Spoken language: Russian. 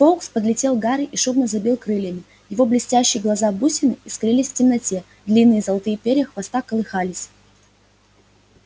фоукс подлетел к гарри и шумно забил крыльями его блестящие глаза-бусины искрились в темноте длинные золотые перья хвоста колыхались